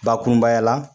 Bakurunbaya la